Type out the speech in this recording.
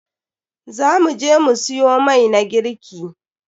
Za mu je mu siyo mai na girki.